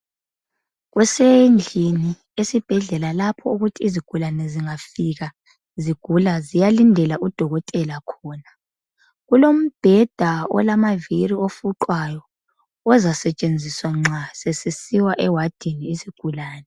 Kusendlini esibhedlela lapho okuthi izigulane zingafika zigula ziyalindela udokotela khona. Kulombheda olamaviri ofuqwayo, ozasetshenziswa nxa sesisiwa ewadini isigulane.